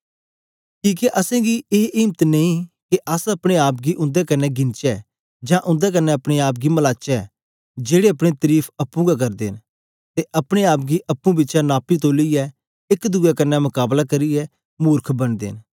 किके असेंगी ए इम्त नेई के अस अपने आप गी उन्दे कन्ने गिनचै जां उन्दे कन्ने अपने आप गी मलाचै जेड़े अपनी तरीफ अप्पुं गै करदे न ते अपने आप गी अप्पुं बिचै नापी तोलियै एक दुए कन्ने मकाबला करियै मुर्ख बनदे न